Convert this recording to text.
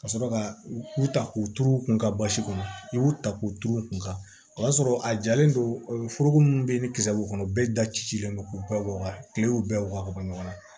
Ka sɔrɔ ka u ta k'u turu u kun ka basi kɔnɔ i y'u ta k'u turu u kun ka o y'a sɔrɔ a jalen don foroko min bɛ yen ni kisɛ b'u kɔnɔ bɛɛ da cilen don k'u bɛɛ bɔ ka kile y'u bɛɛ wɔɔrɔ ka bɔ ɲɔgɔn na